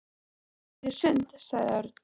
Við gætum farið í sund, sagði Örn.